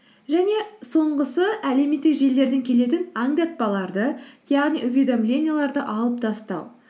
және соңғысы әлеуметтік желілерден келетін аңдатпаларды яғни уведомленияларды алып тастау